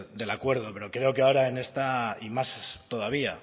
del acuerdo pero creo que ahora en esta y más todavía